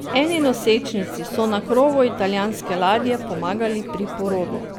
Eni nosečnici so na krovu italijanske ladje pomagali pri porodu.